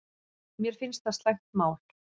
Mér finnst það slæmt mál